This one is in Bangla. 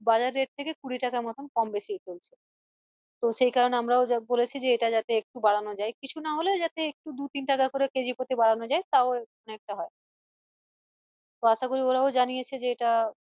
বাজার rate থেকে কুড়ি টাকা মত কম বেশি তো সেই কারণে আমরাও বলেছি যে এটা যাতে একটু বাড়ানো যাই কিছু না হলে যাতে একটু দু তিন টাকা করে কেজি প্রতি বাড়ানো যাই তাও মানে একটা হয় ওরাও জানিয়েছে যে এটা